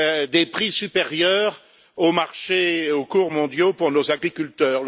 des prix supérieurs au marché et aux cours mondiaux pour nos agriculteurs.